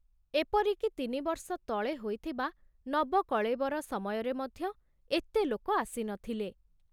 ଏପରିକି ତିନିବର୍ଷ ତଳେ ହୋଇଥିବା ନବକଳେବର ସମୟରେ ମଧ୍ୟ ଏତେ ଲୋକ ଆସି ନ ଥିଲେ।